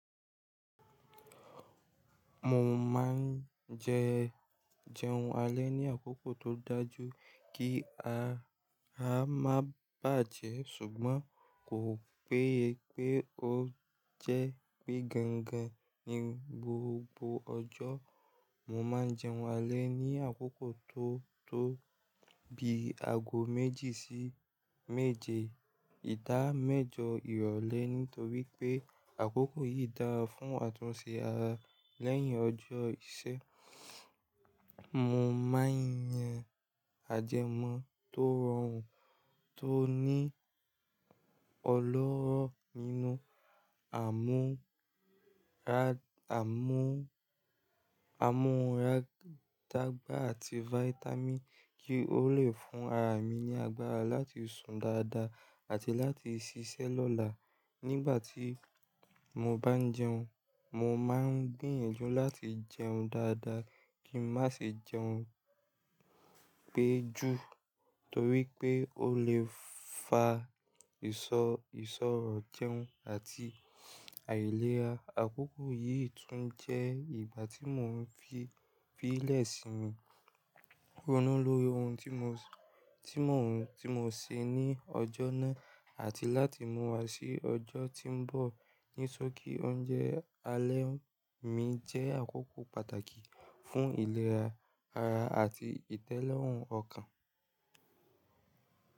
Mo máa ń jẹ, jẹun alẹ́ ní àkókò tó dájú kí ara má bàjẹ́ ṣùgbọ́n kò pé pé ó jẹ́ pé gangan ní gbogbo ọjọ́. Mo máa ń jẹun alẹ́ ní àkókò tó, tó bi ago méjì sí méje ìdá mẹ́jọ ìrọ̀lẹ́ nítorí pé àkókò yìí dára fún àtúnṣe ara lẹ́yìn ọjọ́ iṣẹ́. Mo máa ń yan ajẹ́mọ́ tó rọrùn, tó ní ọlọ́rọ́ nínú àmú ra àmú, àmú rag tagba àti fáítámìì kí ó le fún ara mi ní agbára láti sùn dáadáa àti láti ṣiṣẹ́ lọ́la. Nígbà tí mo bá ń jẹun, mo máa ń gbìyànjú láti jẹun dáadáa kí n má ṣe jẹun pẹ́ jù torí pé ó lè fa ìṣọ́, ìṣọ̀rọ̀ jẹun àti àìlera. Àkókò yìí tún jẹ́ ìgbà tí mò ń fi, fi ìlẹ́ṣin mi ronú lórí ohun tí mò ń ṣe ní ọjọ́ náà àti láti mú wa sí ọjọ́ tí ń bọ̀. Ní sókí oúnjẹ alẹ́ mi jẹ́ àkókò pàtàkì fún ìlera ara àti ìtẹ́lọ́rùn ọkàn.